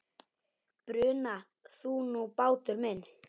Bruna þú nú, bátur minn.